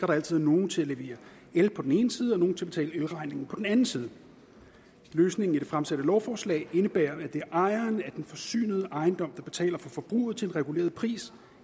der altså er nogle til at levere el på den ene side og nogen til at betale elregningen på den anden side løsningen i det fremsatte lovforslag indebærer at det er ejeren af den forsynede ejendom der betaler for forbruget til en reguleret pris